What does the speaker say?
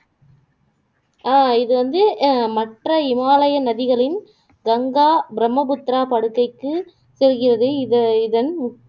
ஆஹ் இது வந்து அஹ் மற்ற இமாலய நதிகளின் கங்கா, பிரம்மபுத்திரா படுக்கைக்கு செல்கிறது இத இதன்